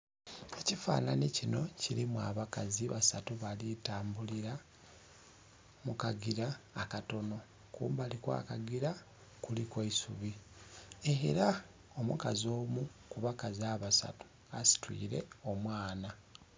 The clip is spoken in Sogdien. Ekifananhi kinho kilimu abakazi basatu bali tambulila mu kagila akatonho kumbali kwa kagila kuliku eisubi era omukazi omu kubakazi abasatu, asitwire omwaana.